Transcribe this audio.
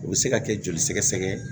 O bɛ se ka kɛ joli sɛgɛsɛgɛ